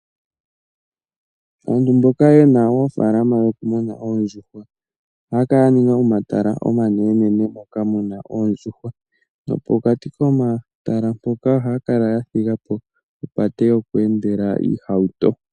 Aantu mboka ye na oofalalama dhoku muna oondjuhwa oha ya kala ya ninga omatala omanene nene moka muna oondjuhwa ,nopokati komatala mpoka o ha ya kala ya thigapo opate yo ku endela oohauto.